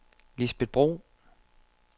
Lisbet Bro